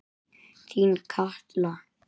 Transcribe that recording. Þín Katla.